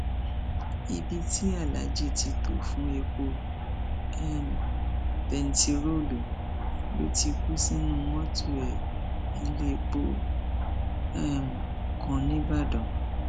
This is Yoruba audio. ibi tí aláàjì ti tó fún epo um bẹntiróòlù ló ti kú sínú mọtò ẹ nílẹpọ um kan nìbàdàn